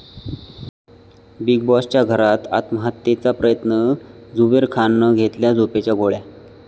big बाॅस'च्या घरात आत्महत्येचा प्रयत्न, झुबेर खाननं घेतल्या झोपेच्या गोळ्या